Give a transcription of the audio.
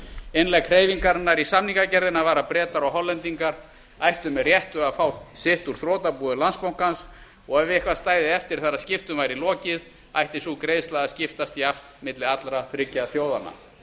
innlegg hreyfingarinnar í samningagerðina var að bretar og hollendingar ættu með réttu að fá sitt úr þrotabúi landsbankans og ef eitthvað stæði eftir þegar skiptum væri lokið ætti sú greiðsla að skiptast jafnt milli allra þriggja þjóðanna